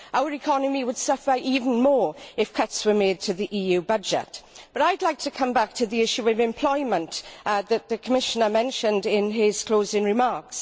Our economy would suffer even more if cuts were made to the EU budget, but I would like to come back to the issue of employment that the Commissioner mentioned in his closing remarks.